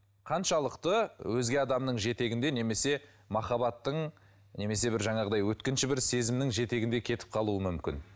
қаншалықты өзге адамның жетегінде немесе махаббаттың немесе бір жаңағындай өткінші бір сезімнің жетегінде кетіп қалуы мүмкін